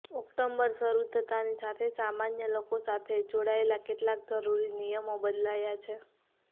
October શરુ થતાની સાથે સામાન્ય લોકો સાથે જોડાયેલા કેટલાક જરુરી નિયમો બદલાયા છે